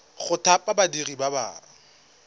go thapa badiri ba ba